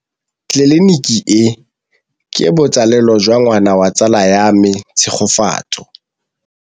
Tleliniki e, ke botsalêlô jwa ngwana wa tsala ya me Tshegofatso.